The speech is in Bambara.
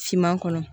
Finman kɔnɔ